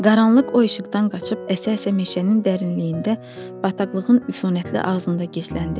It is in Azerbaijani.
Qaranlıq o işıqdan qaçıb əsə-əsə meşənin dərinliyində bataqlığın üfunətli ağzında gizləndi.